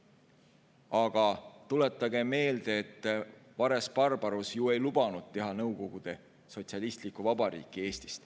Aga tuletagem meelde, et Vares‑Barbarus ju ei lubanud Eestist teha nõukogude sotsialistlikku vabariiki.